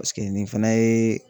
Paseke nin fana ye